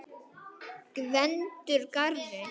Gvendur garri.